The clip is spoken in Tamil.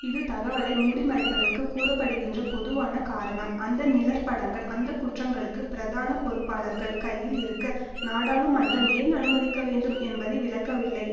இது தகவலை மூடிமறைப்பதற்கு கூற படுகின்ற பொதுவான காரணம் அந்த நிழற்படங்கள் அந்த குற்றங்களுக்கு பிரதான பொறுப்பாளர்கள் கையில் இருக்க நாடாளுமன்றம் ஏன் அனுமதிக்கவேண்டும் என்பதை விளக்கவில்லை